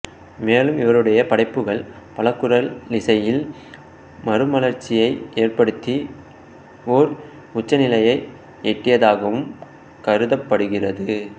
மேலும் இவருடைய படைப்புகள் பலகுரலிசையில் மறுமலர்ச்சியை ஏற்படுத்தி ஓர் உச்சநிலையை எட்டியதாகவும் கருதப்படுகிறது